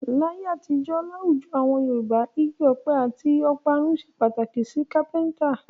Láyé àtijó, láwùjọ awon Yorùbá, igi ọ̀pẹ àti ọ̀parun ṣe pàtàkì sí kápẹ́ńtà.